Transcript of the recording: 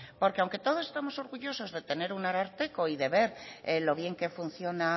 porque aunque todos estemos orgullosos de tener un ararteko y de ver lo bien que funciona